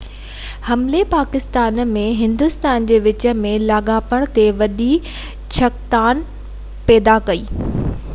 حملي پاڪستان ۽ هندوستان جي وچ ۾ لاڳاپن تي وڏي ڇڪتاڻ پيدا ڪئي